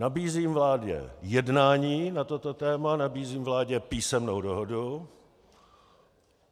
Nabízím vládě jednání na toto téma, nabízím vládě písemnou dohodu.